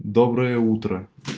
доброе утро